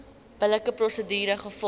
billike prosedure gevolg